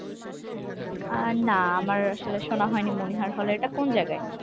আহ না আমার আসলে শোনা হয়নি মনিহার hall এটা কোন জায়গায়?